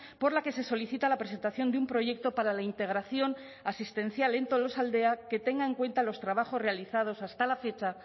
por la que se solicita la presentación de un proyecto para la integración asistencial en tolosaldea que tenga en cuenta los trabajos realizados hasta la fecha